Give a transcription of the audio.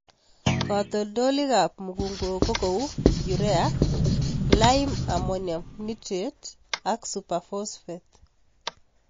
Katoltolikab mukunkok ko kou Urea, lime-ammonium nitrate (LAN) ak superphosphate.